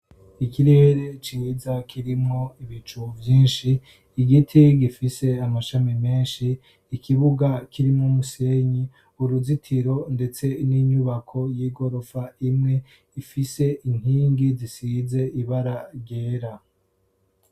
Ikirere ciza kirimwo ibicu vyinshi, igiti gifise amashami menshi, ikibuga kirimwo umusenyi, uruzitiro ndetse n'inyubako y'igorofa imwe ifise inkingi zisize ibara ryera.